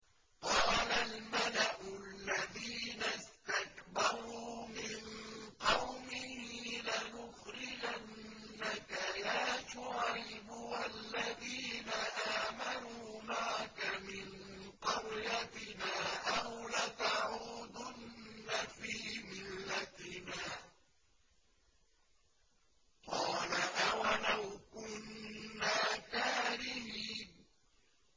۞ قَالَ الْمَلَأُ الَّذِينَ اسْتَكْبَرُوا مِن قَوْمِهِ لَنُخْرِجَنَّكَ يَا شُعَيْبُ وَالَّذِينَ آمَنُوا مَعَكَ مِن قَرْيَتِنَا أَوْ لَتَعُودُنَّ فِي مِلَّتِنَا ۚ قَالَ أَوَلَوْ كُنَّا كَارِهِينَ